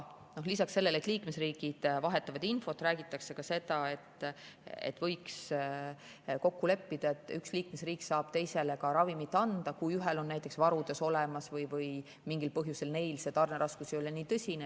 Lisaks sellele, et liikmesriigid vahetavad infot, räägitakse ka seda, et võiks kokku leppida, et üks liikmesriik saab teisele ravimit anda, kui ühel on varud olemas ja mingil põhjusel neil tarneraskus ei ole nii tõsine.